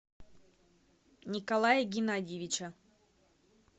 николая геннадьевича